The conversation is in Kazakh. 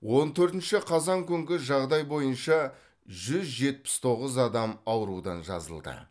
он төртінші қазан күнгі жағдай бойынша жүз жетпіс тоғыз адам аурудан жазылды